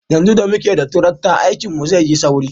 Yanzu da muke da tarakta, aikinmu zai yi sauri.